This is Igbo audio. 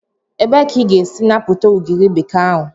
Ebee ka ị ga-esi napụta ugiri bekee ahụ?